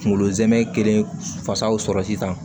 Kunkolo zɛmɛ kelen fasaw sɔrɔ sisan